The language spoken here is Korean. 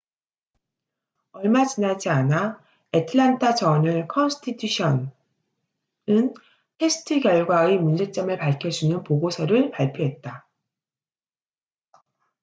얼마 지나지 않아 애틀랜타 저널 컨스티튜션atlanta journal-constitution은 테스트 결과의 문제점을 밝혀주는 보고서를 발표했다